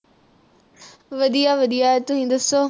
ਵਧੀਆ ਵਧੀਆ ਤੁਸੀ ਦੱਸੋ?